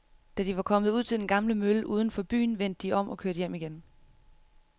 Da de var kommet ud til den gamle mølle uden for byen, vendte de om og kørte hjem igen.